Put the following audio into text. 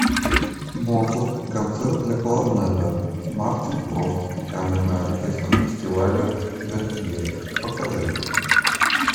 моцарт концерт для кларнета мартин фрост камерный оркестр фестиваля вербье покажи